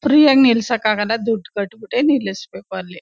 Free ಆಗಿ ನಿಲ್ಸಕ್ ಆಗಲ್ಲ ದುಡ್ಡು ಕಟ್ಟ್ ಬಿಟ್ಟೆ ನಿಲ್ಬೇಕು ಅಲ್ಲಿ.